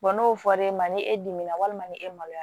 n'o fɔr'e ma ni e dimina walima ni e maloya